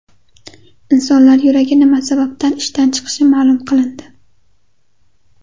Insonlar yuragi nima sababdan ishdan chiqishi ma’lum qilindi.